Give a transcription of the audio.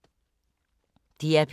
DR P3